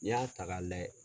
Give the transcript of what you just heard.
N'i y'a ta ka lajɛ